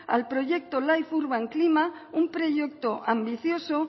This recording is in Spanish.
al proyecto life urban klima un proyecto ambicioso